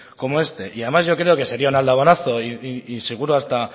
como este y además yo creo que sería un y seguro hasta